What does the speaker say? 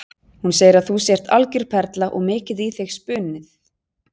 Hún segir að þú sért algjör perla og mikið í þig spunnið.